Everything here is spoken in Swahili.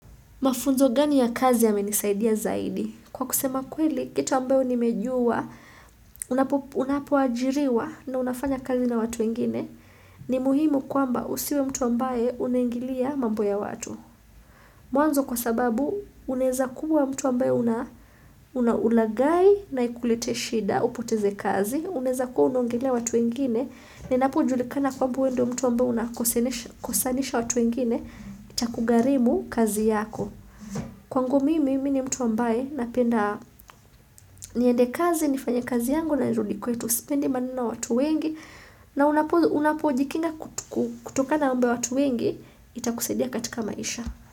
Mafunzo gani ya kazi yamenisaidia zaidi? Kwa kusema kweli, kitu ambayo nimejua, unapo ajiriwa na unafanya kazi na watu wengine, ni muhimu kwamba usiwe mtu ambaye unaingilia mambo ya watu. Mwanzo kwa sababu, unaeza kuwa mtu ambayo una ulagai na ikulete shida au upoteze kazi, unaeza kuwa unaongelea watu wengine, na inapo julikana kwamba we ndio mtu ambao unakosanisha watu wengine itakugarimu kazi yako. Kwangu mimi, mimi ni mtu ambaye na penda niende kazi, nifanye kazi yangu na nirudi kwetu sipendi maneno na watu wengi na unapojikinga kutoka na mambo ya watu wengi, itakusaidia katika maisha.